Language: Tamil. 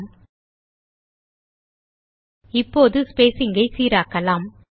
ல்ட்பாசெக்ட் இப்போது ஸ்பேசிங் ஐ சீராக்கலாம்